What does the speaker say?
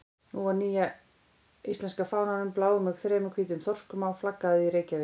Nú var nýja íslenska fánanum, bláum með þremur hvítum þorskum á, flaggað í Reykjavík.